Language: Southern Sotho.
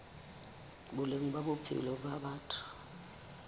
boleng ba bophelo ba batho